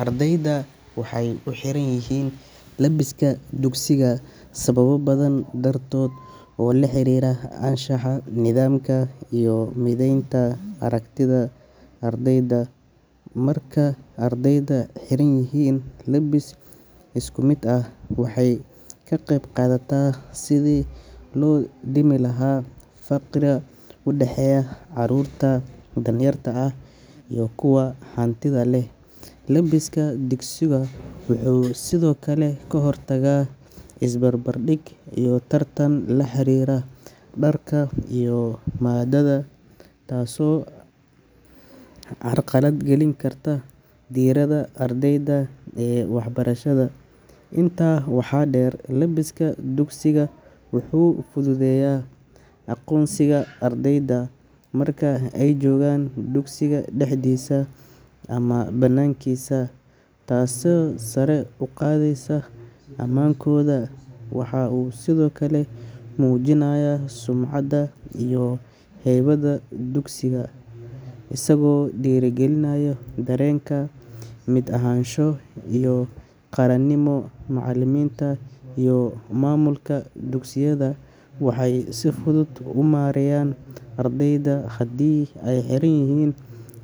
Ardaydu waxay u xiran yihiin labiska dugsiga sababo badan dartood oo la xiriira anshaxa, nidaamka iyo mideynta aragtida ardayda. Marka ardaydu xiran yihiin labis isku mid ah, waxay ka qeyb qaadataa sidii loo dhimi lahaa farqiga u dhexeeya carruurta danyarta ah iyo kuwa hantida leh. Labiska dugsiga wuxuu sidoo kale ka hortagaa is barbar dhig iyo tartan la xiriira dharka iyo moodada taasoo carqalad gelin karta diiradda ardayda ee waxbarashada. Intaa waxaa dheer, labiska dugsiga wuxuu fududeeyaa aqoonsiga ardayda marka ay joogaan dugsiga dhexdiisa ama banaankiisa, taasoo sare u qaadaysa ammaankooda. Waxa uu sidoo kale muujinayaa sumcadda iyo haybadda dugsiga, isagoo dhiirrigelinaya dareen ka mid ahaansho iyo qaranimo. Macallimiinta iyo maamulka dugsiyada waxay si fudud u maareeyaan ardayda haddii ay xiran yihiin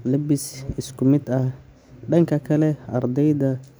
labis isku mid ah. Dhanka kale, ardayda.